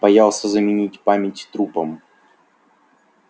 боялся заменить память трупом